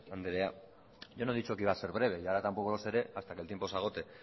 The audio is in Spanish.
andrea yo no he dicho que iba a ser breve y ahora tampoco lo seré hasta que el tiempo se agote